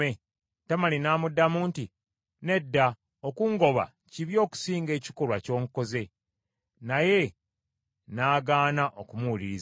Tamali n’amuddamu nti, “Nedda! Okungoba kibi okusinga ekikolwa ky’onkoze.” Naye n’agaana okumuwuliriza.